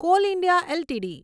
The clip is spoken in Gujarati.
call India LTD